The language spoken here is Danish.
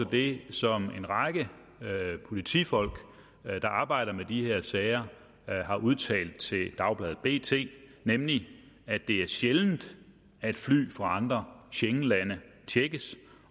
det som en række politifolk der arbejder med de her sager har udtalt til dagbladet bt nemlig at det er sjældent at fly fra andre schengenlande tjekkes